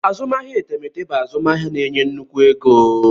Azụmahịa etemeete bụ azụmahịa na-enye nnukwu ego.